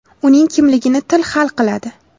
Uning kimligini til hal qiladi.